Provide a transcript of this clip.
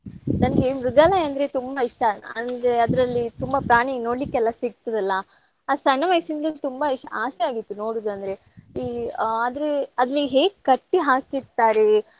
ನನಗೆ ಮೃಗಾಲಯಾ ಅಂದ್ರೆ ತುಂಬಾ ಇಷ್ಟ. ಅಂದ್ರೆ ಅದ್ರಲ್ಲಿ ತುಂಬಾ ಪ್ರಾಣಿ ನೋಡ್ಲಿಕ್ಕೆಲ್ಲಾ ಸಿಗ್ತದಲ್ಲಾ. ಆ ಸಣ್ಣ ವಯಸ್ಸಿಂದ್ಲು ತುಂಬಾ ಇಷ್~ ಆಸೆ ಆಗಿತ್ತು ನೋಡುದಂದ್ರೆ. ಈ ಆದ್ರೆ ಅಲ್ಲಿ ಹೇಗ್ ಕಟ್ಟಿ ಹಾಕಿರ್ತಾರೆ.